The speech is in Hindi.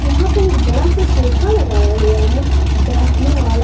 यहां पर एक बड़ा सा सोफा लगाया हुआ है बैठने वाला--